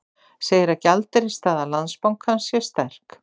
Segir að gjaldeyrisstaða Landsbankans sé sterk